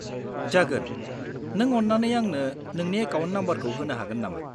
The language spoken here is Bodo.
-जागोन। नों अन्नानै आंनो नोंनि एकाउन्ट नाम्बारखौ होनो हागोन नामा?